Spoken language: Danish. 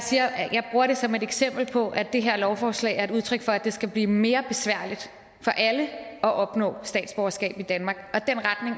bruger det som et eksempel på at det her lovforslag er et udtryk for at det skal blive mere besværligt for alle at opnå statsborgerskab i danmark og